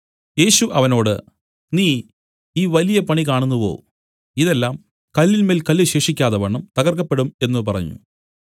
യേശു അവനോട് നീ ഈ വലിയ പണി കാണുന്നുവോ ഇതെല്ലാം കല്ലിന്മേൽ കല്ല് ശേഷിക്കാതവണ്ണം തകർക്കപ്പെടും എന്നു പറഞ്ഞു